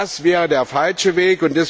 Das wäre der falsche Weg.